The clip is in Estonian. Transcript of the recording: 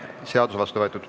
Seadus on vastu võetud.